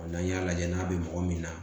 N'an y'a lajɛ n'a bɛ mɔgɔ min na